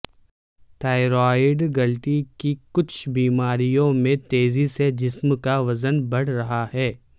thyroid گلٹی کی کچھ بیماریوں میں تیزی سے جسم کا وزن بڑھ رہا ہے